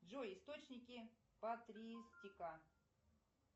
джой источники патристика